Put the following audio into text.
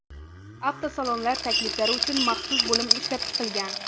Avtosalonlar takliflari uchun maxsus bo‘lim ishlab chiqilgan.